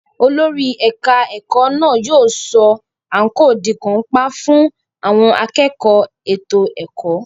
Olórí ẹ̀ka ìkẹ́kọ̀ọ́ náà yóò sọ àǹkóò di kàńpá fún àwọn akẹ́kọ̀ọ́ ètò ẹ̀kọ́.